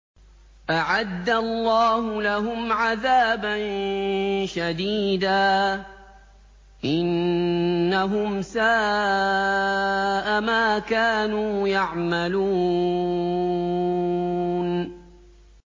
أَعَدَّ اللَّهُ لَهُمْ عَذَابًا شَدِيدًا ۖ إِنَّهُمْ سَاءَ مَا كَانُوا يَعْمَلُونَ